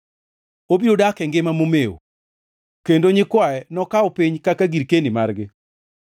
Obiro dak e ngima momew, kendo nyikwaye nokaw piny kaka girkeni margi.